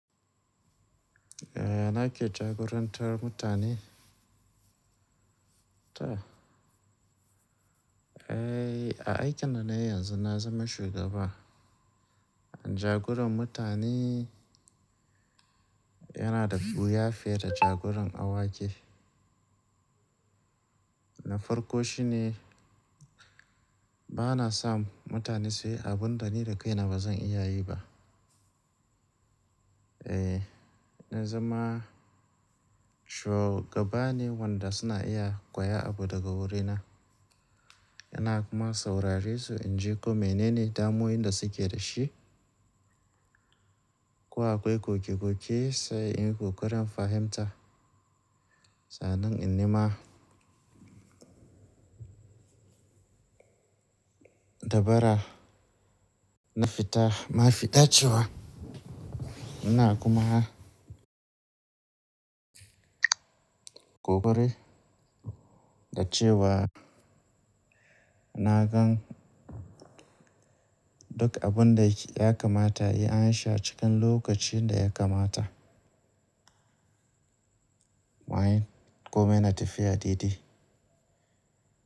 Yaya, nake jagorantar mutane. To. Eh, a aikin da na yi yanzu na zama shugaba. Jagoran mutane yana da wuya fiye da jagoran awaki. Na farko shi ne ba na sa mutane sai abun da ni da kaina ba zan iya yi ba. Eh, na zama shugabane wanda suna iya koya abu daga wurina. Ina kuma saurare su in ji ko mene ne damuwowin da suke da shi, ko akwai ƙoƙe-ƙoƙe sai in yi ƙoƙarin fahimta. Sa annan in ne ma dabara na fita, ma fita cewa ina kuma ƙoƙari da cewa na gan duk abun da ya kamata a yi an sha cikin lokacin da ya kamata. Wa yi? Ko mene natafiya daiɗai?